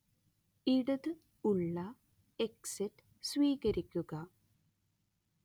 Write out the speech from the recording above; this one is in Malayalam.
ഇടത് ഉള്ള എക്സിറ്റ് സ്വീകരിക്കുക